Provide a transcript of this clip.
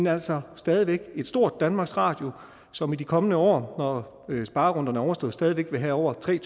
altså stadig væk et stort danmarks radio som i de kommende år når sparerunderne er overstået stadig væk vil have over tre